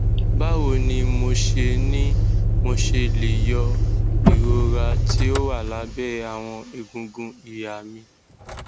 bawo ni mo ṣe ni mo ṣe le yọ irora ti o wa labẹ awọn egungun iha mi